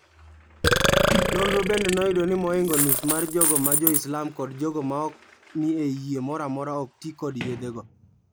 Nonro bende noyudo ni moingo nus mar jogo ma joislam kod jogo maok ni e yie moramora okti kod yedhe go.